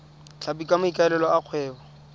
tlhapi ka maikaelelo a kgwebo